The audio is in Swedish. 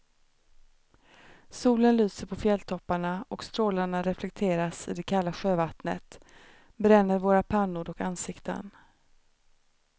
Solen lyser på fjälltopparna och strålarna reflekteras i det kalla sjövattnet, bränner våra pannor och ansikten.